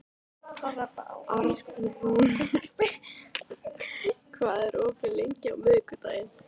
Arnrún, hvað er opið lengi á miðvikudaginn?